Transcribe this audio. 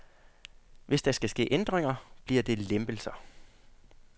Hvis der skal ske ændringer, bliver det lempelser.